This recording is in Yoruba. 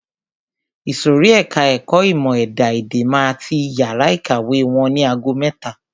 Ìsòrí ẹka ẹ̀kọ́ ìmọ̀ ẹ̀dá-èdè máa ti yàrá ìkàwé wọn ni ago mẹ́ta.